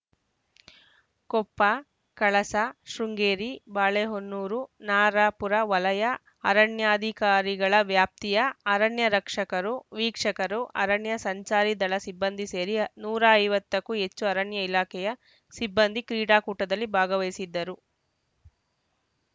ಕೊಪ್ಪ ಕಳಸ ಶೃಂಗೇರಿ ಬಾಳೆಹೊನ್ನೂರು ನರಾಪುರ ವಲಯ ಅರಣ್ಯಾಧಿಕಾರಿಗಳ ವ್ಯಾಪ್ತಿಯ ಅರಣ್ಯ ರಕ್ಷಕರು ವೀಕ್ಷಕರು ಅರಣ್ಯ ಸಂಚಾರಿ ದಳ ಸಿಬ್ಬಂದಿ ಸೇರಿ ನೂರ ಐವತ್ತಕ್ಕೂ ಹೆಚ್ಚು ಅರಣ್ಯ ಇಲಾಖೆಯ ಸಿಬ್ಬಂದಿ ಕ್ರೀಡಾಕೂಟದಲ್ಲಿ ಭಾಗವಹಿಸಿದ್ದರು